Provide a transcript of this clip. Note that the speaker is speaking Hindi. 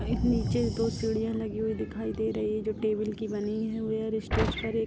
नीचे दो सीढ़ीयां लगी हुई दिखाई दे रही है जो टेबिल की बनी है वेयर स्टेज पर एक --